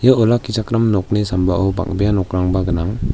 olakkichakram nokni sambao bang·bea nokrangba gnang.